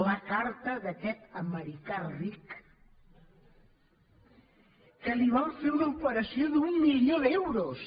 la carta d’aquest americà ric que li van fer una operació d’un milió d’euros